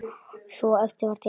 Svo eftir var tekið.